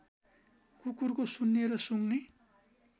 कुकुरको सुन्ने र सुँघ्ने